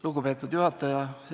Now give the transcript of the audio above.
Lugupeetud juhataja!